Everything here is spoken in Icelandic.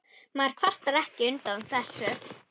Maður kvartar ekki undan þessu.